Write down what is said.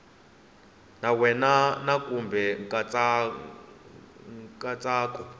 ka wena na kumbe nkatsako